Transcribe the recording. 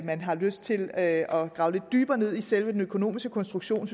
man har lyst til at grave lidt dybere ned i selve den økonomiske konstruktion